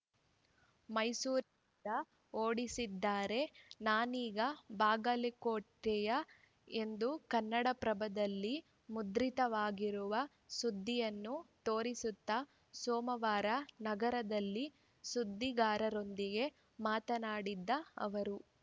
ಮೈಸೂರಿನಿಂದ ಓಡಿಸಿದ್ದಾರೆ ನಾನೀಗ ಬಾಗಲಕೋಟೆಯವ ಎಂದು ಕನ್ನಡಪ್ರಭದಲ್ಲಿ ಮುದ್ರಿತವಾಗಿರುವ ಸುದ್ದಿಯನ್ನು ತೋರಿಸುತ್ತಾ ಸೋಮವಾರ ನಗರದಲ್ಲಿ ಸುದ್ದಿಗಾರರೊಂದಿಗೆ ಮಾತನಾಡಿದ ಅವರು